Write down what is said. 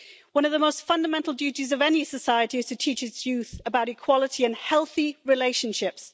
One of the most fundamental duties of any society is to teach its youth about equality and healthy relationships.